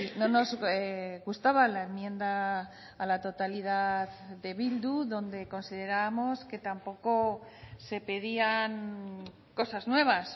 no nos gustaba la enmienda a la totalidad de bildu donde considerábamos que tampoco se pedían cosas nuevas